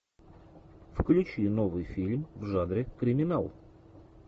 включи новый фильм в жанре криминал